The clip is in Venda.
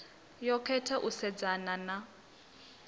yo khetha u sedzana na